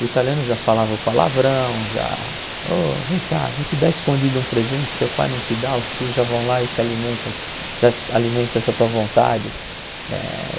O italiano já falava palavrão, já... Oh, vem cá, vou te dar escondido um presente, teu pai não te dá, os tios já vão lá e te alimentam, já alimentam essa tua vontade. Eh